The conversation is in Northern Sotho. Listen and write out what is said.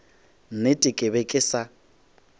nnete ke be ke sa